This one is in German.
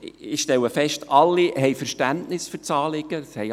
Ich stelle fest, dass alle Verständnis für das Anliegen haben.